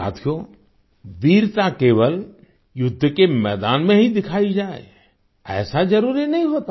साथियो वीरता केवल युद्ध के मैदान में ही दिखाई जाए ऐसा जरूरी नहीं होता